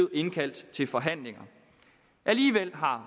indkaldt til forhandlinger alligevel har